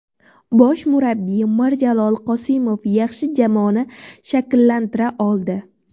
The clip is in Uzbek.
Bosh murabbiy Mirjalol Qosimov yaxshi jamoani shakllantira oldi.